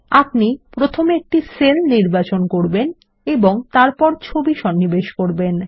আপনি প্রথমে একটি সেল নির্বাচন করুন এবং তারপর ছবি সন্নিবেশ করবেন